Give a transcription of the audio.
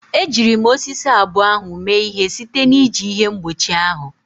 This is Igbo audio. Ejiri m osisi abụọ ahụ mee ihe site na iji ihe mgbochi ahụ.